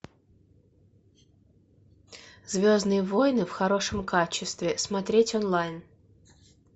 звездные войны в хорошем качестве смотреть онлайн